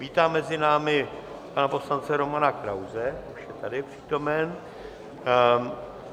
Vítám mezi námi pana poslance Romana Krause, už je tady přítomen.